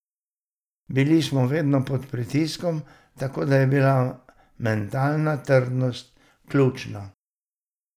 Bili smo vedno pod pritiskom, tako da je bila mentalna trdnost ključna.